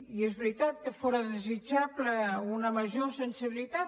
i és veritat que fóra desitjable una major sensibilitat